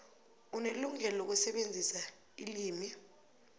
unelungelo lokusebenzisa ilimi